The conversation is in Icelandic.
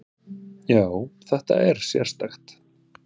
Já, þetta er sérstakt.